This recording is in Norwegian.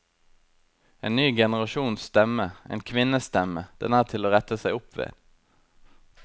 En ny generasjons stemme, en kvinnes stemme, den er til å rette seg opp ved.